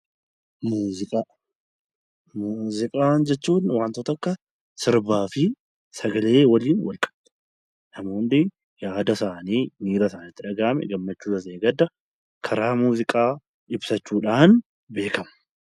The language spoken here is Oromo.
Muuziqaa jechuun wanta akka sirbaan fi sagalee waliin wal qabatu yaada isaanii gammachuu ta'ee gadda karaa muuziqaa ibsachuudhaan beekamu.